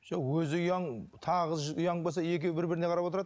жоқ өзі ұяң тағы ұяң болса екеуі бір біріне қарап отырады